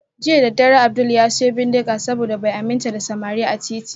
Jiya Abdul ya siyo bindiga saboda bai aminta da samari a titi